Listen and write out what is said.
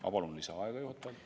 Ma palun juhatajalt lisaaega!